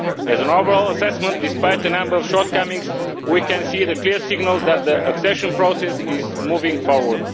As an overall assessment, despite a number of shortcomings, we can see clear signals that the accession process is moving forward.